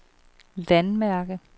landmærke